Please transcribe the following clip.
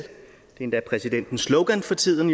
endda præsidentens slogan for tiden